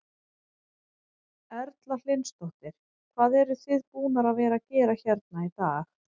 Erla Hlynsdóttir: Hvað eruð þið búnar að vera að gera hérna í dag?